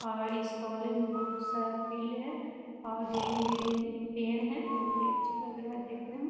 और इस कॉलेज में बहुत सारा फील्ड है और ग्रीन ग्रीन पेड़ है बहुत अच्छा लग रहा है देखने में।